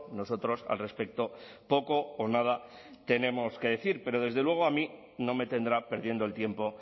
nosotros al respecto poco o nada tenemos que decir pero desde luego a mí no me tendrá perdiendo el tiempo